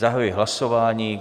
Zahajuji hlasování.